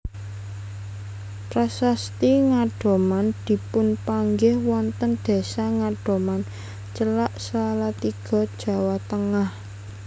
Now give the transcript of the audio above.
Prasasti Ngadoman dipunpanggih wonten desa Ngadoman celak Salatiga Jawa Tengah